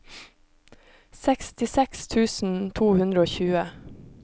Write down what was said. sekstiseks tusen to hundre og tjue